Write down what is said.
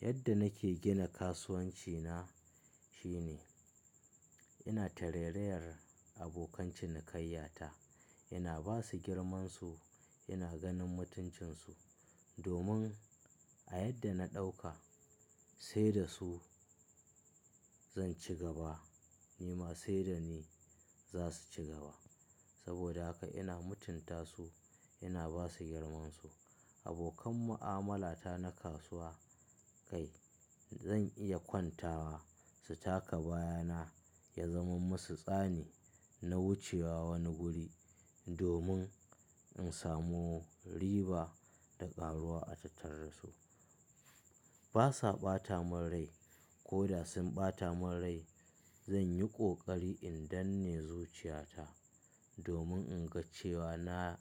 Yadda nake gina kasuwanci na shine ina tarairayar abokan cinikayya ta. Ina ba su girmansu, ina ganin mutuncinsu domin a yadda na ɗauka sai da su zan ci gaba ni ma sai da ni za su ci gaba. Saboda haka ina mutunta su, ina ba su girmansu. Abokan mu'amala ta na kasuwa kai zan iya kwantawa su taka baya na ya zaman musu tsani na wuce wa wani guri domin in samu riba da ƙaruwa a tattare da su. Ba sa ɓata mun rai ko da sun ɓata mun rai zan yi ƙoƙari in danne zuciya ta domin in ga cewa na